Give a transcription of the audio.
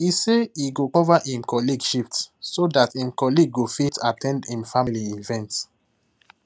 he say he go cover him colleague shift so that him colleague go fit at ten d him family event